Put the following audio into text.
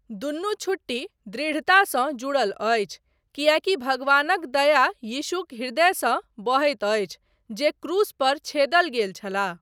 दुनू छुट्टी दृढ़तासँ जुड़ल अछि, किएकी भगवानक दया यीशुक हृदयसँ बहैत अछि जे क्रूस पर छेदल गेल छलाह।